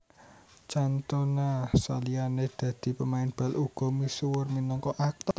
Cantona saliyane dadi pemain bal uga misuwur minangka aktor